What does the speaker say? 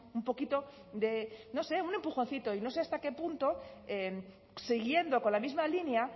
un poquito de no sé un empujoncito y no sé hasta qué punto siguiendo con la misma línea